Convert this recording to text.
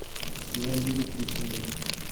иван юрьевич гусейнов